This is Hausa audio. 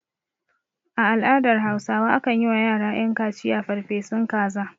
A al'adar hausawa akan yi wa yara ƴan kaciya farfesun kaza